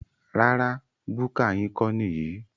Rárá búkà yín kọ́ níyì